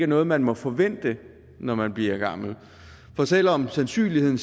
noget man må forvente når man bliver gammel for selv om sandsynligheden